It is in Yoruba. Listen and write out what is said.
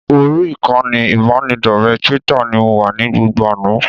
Orí ìkànnì ìbánidọ́rẹ̀ẹ́ Twitter ni mo wà ní gbogbo àná